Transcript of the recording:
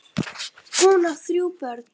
Hún á þrjú börn.